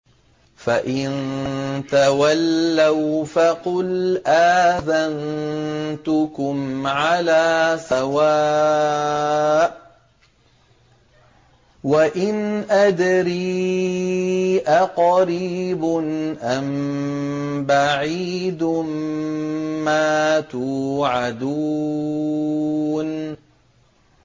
فَإِن تَوَلَّوْا فَقُلْ آذَنتُكُمْ عَلَىٰ سَوَاءٍ ۖ وَإِنْ أَدْرِي أَقَرِيبٌ أَم بَعِيدٌ مَّا تُوعَدُونَ